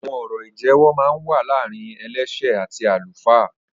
Awọn ọrọ ijẹwọ mà n wà làárín ẹlẹṣẹ àtí àlúfá